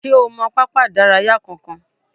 Ṣé o mọ pápá ìdárayá kankan?